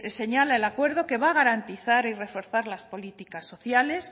señala el acuerdo que va a garantizar y reforzar las políticas sociales